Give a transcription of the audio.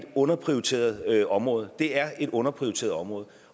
underprioriteret område det er et underprioriteret område